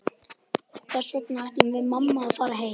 Þess vegna ætlum við mamma að fara heim.